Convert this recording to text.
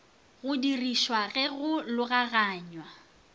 go dirišwa ge go logaganywa